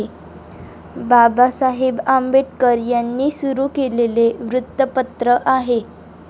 बाबासाहेब आंबेडकर यांनी सुरु केलेले वृत्तपत्र आहे.